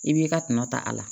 I b'i ka tɔnɔ ta a la